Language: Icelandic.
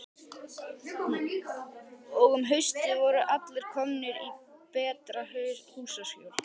Og um haustið voru allir komnir í betra húsaskjól.